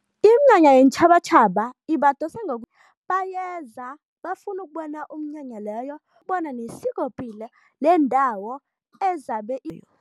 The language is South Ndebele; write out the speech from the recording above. Iminyanya yeentjhabatjhaba ibadosa bayeza bafuna ukubona umnyanya leyo bona nesikopilo lendawo ezabe